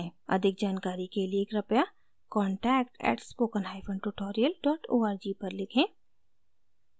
अधिक जानकारी के लिए कृपया contact @spokentutorial org पर लिखें